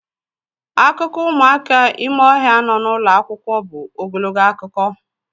Akụkọ ụmụaka ime ohia nọ n'ụlọ akwụkwọ bụ ogologo akụkọ.